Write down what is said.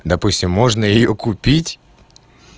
допустим можно её купить